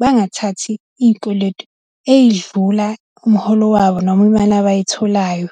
bangathathi izikweletu ey'dlula umholo wabo noma imali abayitholayo.